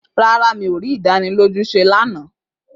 Rárá, mi ò rí ìdánilójú ṣé lánàá